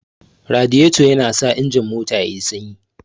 Lagirato yana sa injin mota yayi sanyi